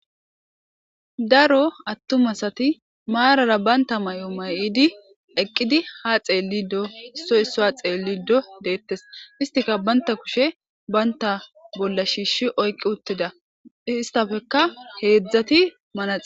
Daro aatuma asati marara bantta mayo mayidii eeqidi ha xellido issoy issuwa xellido dettes istikka bantta kushshe bantta bolla shiishshi oyqii uuttida istapekka hedzdzati manaxire